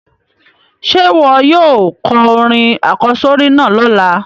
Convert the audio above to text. Sé wo yóò ko orin àkósórí náà lọ́la?